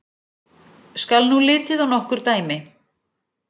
Skal nú litið á nokkur dæmi.